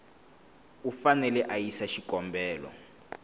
u fanele a yisa xikombelo